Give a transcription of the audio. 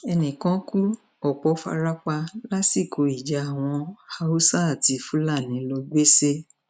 ẹnì kan kú ọpọ fara pa lásìkò ìjà àwọn haúsá àti fúlàní lọgbèsè